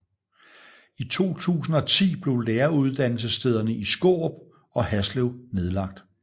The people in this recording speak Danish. I 2010 blev læreruddannelsesstederne i Skårup og Haslev nedlagt